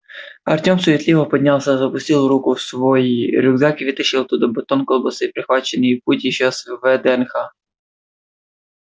артём суетливо поднялся запустил руку в свой рюкзак и вытащил оттуда батон колбасы прихваченный в путь ещё с вднх